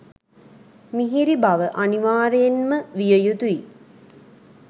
මිහිරි බව අනිවාර්යයෙන්ම විය යුතුයි.